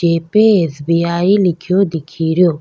जिपे S. BI. लिखीयो दिखी रियो।